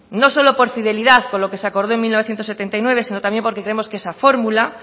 no solo por fidelidad con lo que se acordó en mil novecientos setenta y nueve sino también porque creemos que esa fórmula